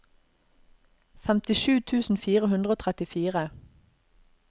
femtisju tusen fire hundre og trettifire